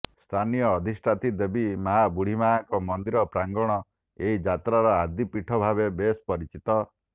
ସ୍ଥାନିୟ ଅଧିଷ୍ଠାତ୍ରୀ ଦେବୀ ମାଁ ବୁଢୀମାଁଙ୍କ ମନ୍ଦିର ପ୍ରାଙ୍ଗଣ ଏହି ଯାତ୍ରାର ଆଦି ପୀଠ ଭାବେ ବେଶ ପରିଚିତ